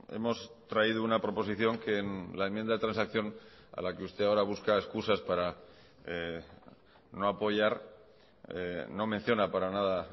hemos traído una proposición que en la enmienda de transacción a la que usted ahora busca excusas para no apoyar no menciona para nada a